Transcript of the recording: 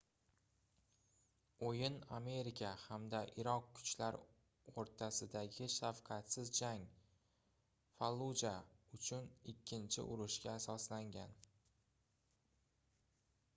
oʻyin amerika hamda iroq kuchlar oʻrtasidagi shafqatsiz jang falluja uchun ikkinchi urushga asoslangan